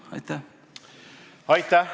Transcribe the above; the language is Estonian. Aitäh!